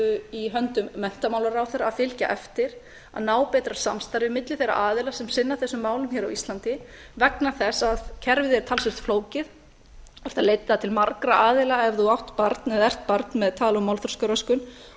í höndum menntamálaráðherra að fylgja eftir að ná betra samstarfi milli þeirra aðila sem sinna þessum málum hér á íslandi vegna þess að kerfið er talsvert flókið þú þarft að leita til margra aðila ef þú átt barn eða ert barn með tal og málþroskaröskun og